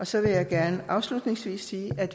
så vil jeg gerne afslutningsvis sige at